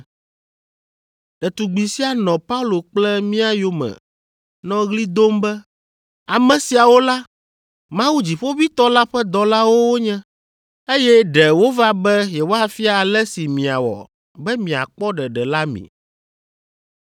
Ɖetugbi sia nɔ Paulo kple mía yome nɔ ɣli dom be, “Ame siawo la, Mawu Dziƒoʋĩtɔ la ƒe dɔlawo wonye, eye ɖe wova be yewoafia ale si miawɔ be miakpɔ ɖeɖe la mi.”